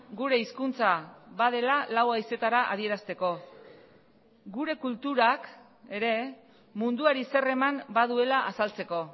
gure hizkuntza badela lau haizeetara adierazteko gure kulturak ere munduari zer eman baduela azaltzeko